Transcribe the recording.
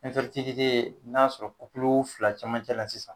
n'a sɔrɔ fila cɛmancɛ la sisan